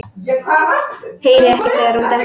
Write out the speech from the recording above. Heyri ekki þegar hún dettur.